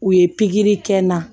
U ye pikiri kɛ n na